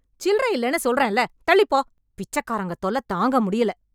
சில்லற இல்லன்னு சொல்றேன்ல, தள்ளிப் போ... பிச்சக்காரங்க தொல்ல தாங்கமுடியல.